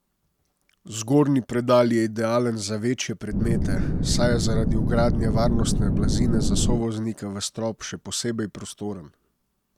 Zgornji predal je idealen za večje predmete, saj je zaradi vgradnje varnostne blazine za sovoznika v strop še posebej prostoren.